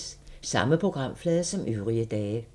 Samme programflade som øvrige dage